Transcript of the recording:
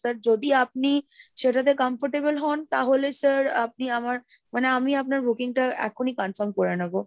sir যদি আপনি সেটাতে comfortable হন তাহলে sir আপনি আমার মানে, আমি আপনার booking টা এক্ষুনি confirm করে নেবো।